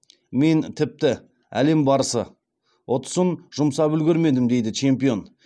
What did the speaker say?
мен тіпті әлем барысы ұтысын жұмсап үлгермедім дейді чемпион